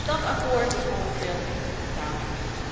Dat akkoord is momenteel echter van tafel.